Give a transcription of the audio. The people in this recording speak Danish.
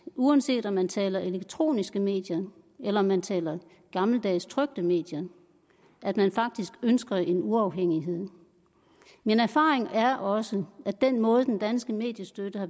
uanset om man taler om elektroniske medier eller om man taler om gammeldags trykte medier at man ønsker en uafhængighed min erfaring er også at den måde den danske mediestøtte